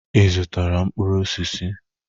Ị zụtara mkpụrụ osisi?